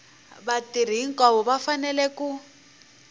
vatirhi hinkwavo va fanele ku